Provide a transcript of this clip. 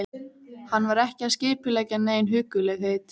Þeir fá vonandi botn í þetta félagar mínir hjá efnahagsbrotadeild.